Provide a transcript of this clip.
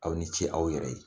Aw ni ce aw yɛrɛ ye